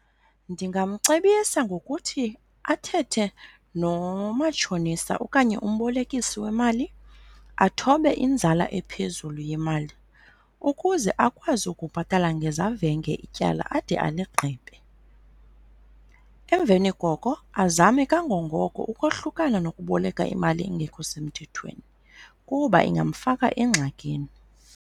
Ndingamcebisa ngokuthi athethe nomatshonisa okanye umbolekisi wemali athobe inzala ephezulu yemali ukuze akwazi ukubhatala ngezavenge ityala ade aligqibe. Emveni koko azame kangangoko ukohlukana nokuboleka imali engekho semthethweni kuba ingamfaka engxakini.